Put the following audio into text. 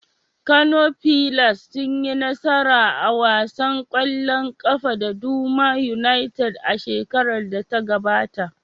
Kano fillars sun yi nasara a wasan kwallon kafa da Doma United a shekarar da ta gabata.